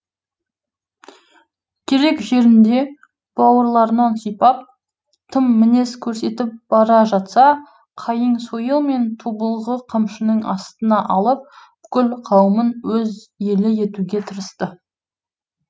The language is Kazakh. керек жерінде бауырларынан сипап тым мінез көрсетіп бара жатса қайың сойыл мен тобылғы қамшының астына алып бүкіл қауымын өз елі етуге тырысты